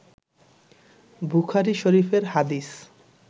বুখারী শরিফের হাদিস